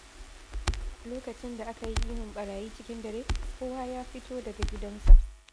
Lokacin da aka yi ihun barayi cikin dare, kowa ya fito daga gidansa.